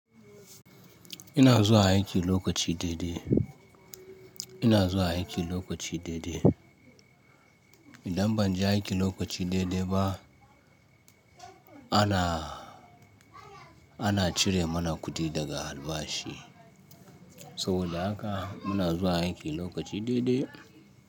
Ina zuwa aiki lokaci daidai. Ina zuwa aiki lokaci daidai. Idan ban je aiki lokaci daidai ba ana, ana cire mana kuɗi daga albashi. Saboda haka muna zuwa aiki lokaci daidai.